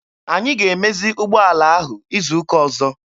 Anyị ga-emezi ụgbọala ahụ izu ụka ọzọ.